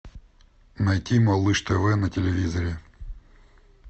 найти малыш тв на телевизоре